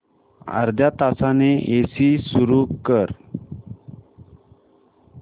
अर्ध्या तासाने एसी सुरू कर